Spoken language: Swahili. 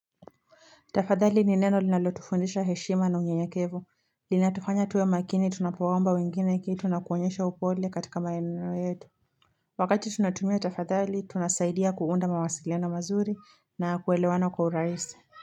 Tafadhali ni neno linalotufundisha heshima na unyenyekevu. Linatufanya tuwe maakini tunapowaomba wengine kitu na kuonyesha upole katika maneno yetu. Wakati tunatumia tafadhali, tunasaidia kuunda mawasiliano mazuri na kuelewana kwa urahisi.